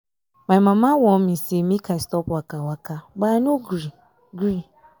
my mama warn me make i stop waka waka but i no gree. gree.